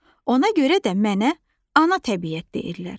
Ona görə də mənə ana təbiət deyirlər.